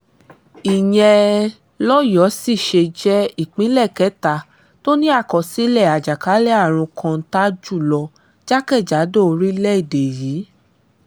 ìyẹn lọ́yọ́ọ́ sì ṣe jẹ́ ìpínlẹ̀ kẹta tó ní àkọsílẹ̀ àjàkálẹ̀ àrùn kọ́ńtà jùlọ jákèjádò orílẹ̀‐èdè yìí